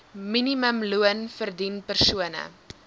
minimumloon verdien persone